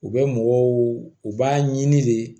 U bɛ mɔgɔw u b'a ɲini de